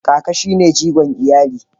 Kaka shi ne jigo iyali.